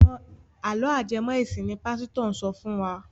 Àlọ́ ajẹmọ́-ẹ̀sìn ni pásítọ̀ ń sọ fún wa.